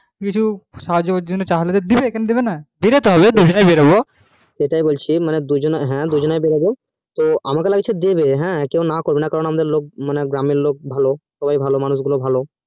কিছু সাহায্যের দুজনকেই সেটা বলছি দুজনে বেরহবো কেও না করবেও না গ্রামের লোক ভালো সবাই ভালো